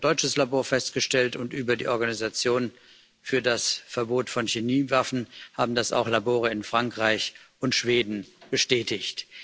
Das hat ein deutsches Labor festgestellt, und über die Organisation für das Verbot von Chemiewaffen haben das auch Labore in Frankreich und Schweden bestätigt.